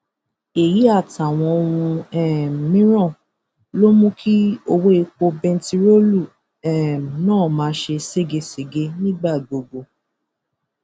èyí àtàwọn ohun um mìíràn ló mú kí ọwọ epo bẹntiróòlù um náà máa ṣe ségesège nígbà gbogbo